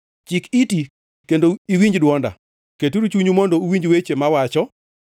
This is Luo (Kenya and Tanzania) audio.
Chik iti kendo iwinj dwonda, keturu chunyu mondo uwinj weche mawacho.